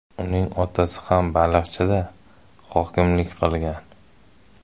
Uning otasi ham Baliqchida hokimlik qilgan.